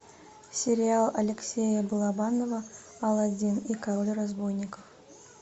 сериал алексея балабанова алладин и король разбойников